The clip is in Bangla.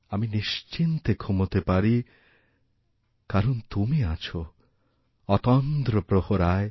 আমি নিশ্চিন্তে ঘুমাতেপারি কারণ তুমি আছ অতন্দ্র প্রহরায়